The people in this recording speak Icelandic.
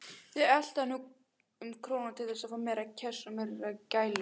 Þau eltu hann um króna til þess að fá meira kjass og meiri gælur.